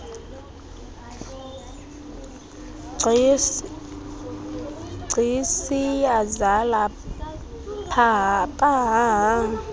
gcis iyazala pahaha